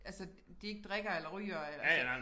Altså de ikke drikker eller ryger eller så